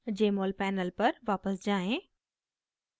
jmol panel पर वापस जाएँ